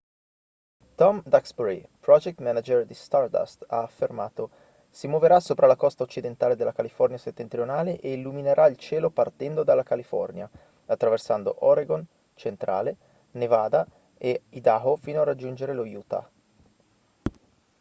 tom duxbury project manager di stardust ha affermato si muoverà sopra la costa occidentale della california settentrionale e illuminerà il cielo partendo dalla california attraversando oregon centrale nevada e idaho fino a raggiungere lo utah